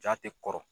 Ja tɛ kɔrɔ